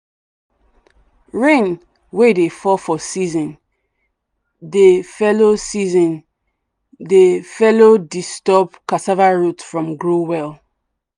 rain wey dey fall for season dey fellow season dey fellow disturb cassava root from grow well.